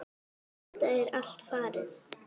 Þetta er allt farið.